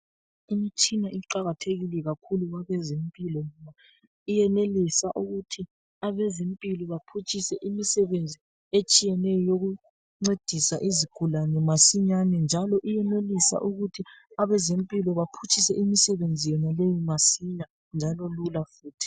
Imitshina iqakathekile kakhulu kwabezempilo. Iyenelisa ukuthi abezempilo baphutshise imisebenzi etshiyeneyo yokuncedisa izigulane masinyane njalo iyenelisa ukuthi abezempilo baphutshise imisebenzi yonaleyi masinya njalo lula futhi.